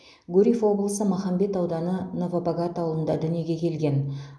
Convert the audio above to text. гурьев облысы махамбет ауданы новобогат ауылында дүниеге келген